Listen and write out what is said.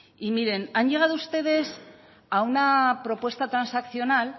y miren han llegado ustedes a una propuesta transaccional